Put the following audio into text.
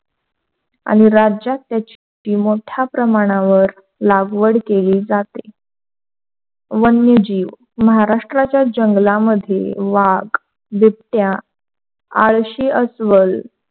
आणि राज्यात त्याची मोठ्या प्रमाणावर लागवड केली जाते, वनजीवन महाराष्ट्राच्या जंगलामधील वाघ, बिबट्या, आळशी अस्वल,